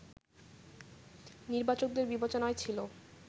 নির্বাচকদের বিবেচনায় ছিল